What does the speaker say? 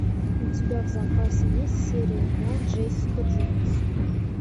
у тебя в запасе есть серия два джессика джонс